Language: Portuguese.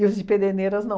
os de Pederneiras, não.